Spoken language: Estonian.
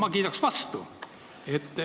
Ma kiidan vastu.